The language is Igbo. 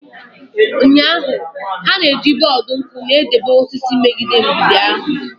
Ụnyahụ, ha na-eji bọọdụ nku na-edebe osisi megide mgbidi ahụ.